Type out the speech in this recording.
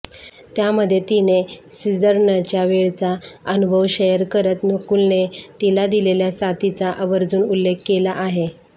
त्यामध्ये तिने सिझरनच्यावेळचा अनुभव शेअर करत नकुलने तिला दिलेल्या साथीचा आवर्जून उल्लेख केला आहे